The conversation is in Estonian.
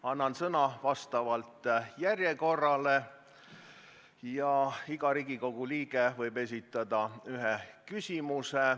Annan sõna vastavalt järjekorrale ja iga Riigikogu liige võib lisaks esitada ühe küsimuse.